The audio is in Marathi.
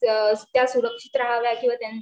त्या सुरक्षित राहाव्या किंवा